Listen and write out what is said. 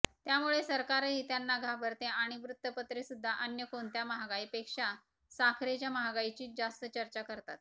त्यामुळे सरकारही त्यांना घाबरते आणि वृत्तपत्रे सुद्धा अन्य कोणत्या महागाईपेक्षा साखरेच्या महागाईचीच जास्त चर्चा करतात